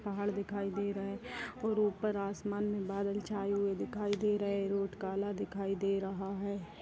पहाड़ दिखाई दे रहें हैं और ऊपर आसमान में बादल छाए हुए दिखाई दे रहें हैं रोड काला दिखाई दे रहा है।